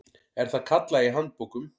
er það kallað í handbókum.